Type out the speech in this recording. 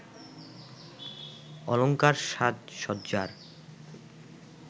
অলঙ্কার সাজসজ্জার